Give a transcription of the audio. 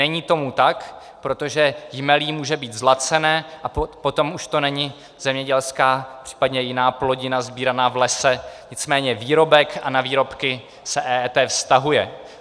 Není tomu tak, protože jmelí může být zlacené, a potom už to není zemědělská, případně jiná plodina sbíraná v lese, nicméně výrobek a na výrobky se EET vztahuje.